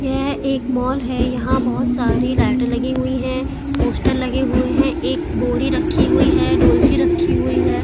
यह एक मॉल है यहाँ बहुत सारी लाइटे लगी हुई हैं पोस्टर लगे हुए है एक बोरी रखी हुई है डोलची रखी हुई है।